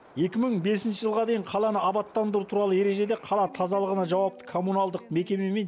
екі мың бесінші жылға дейін қаланы абаттандыру туралы ережеде қала тазалығына жауапты коммуналдық мекемемен